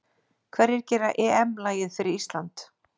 Hverjir gera EM lagið fyrir Ísland???